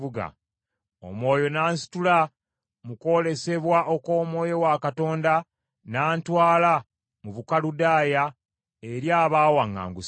Omwoyo n’ansitula mu kwolesebwa okw’Omwoyo wa Katonda n’antwala mu Bukaludaaya eri abaawaŋŋangusibwa.